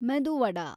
ಮೆದು ವಡಾ